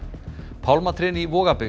pálmatrén í